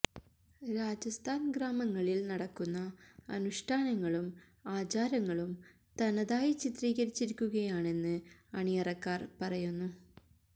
രാജസ്ഥാൻ ഗ്രാമങ്ങളിൽ നടക്കുന്ന അനുഷ്ഠാനങ്ങളും ആചാരങ്ങളും തനതായി ചിത്രീകരിച്ചിരിക്കുകയാണെന്ന് അണിയറക്കാർ പറയുന്നു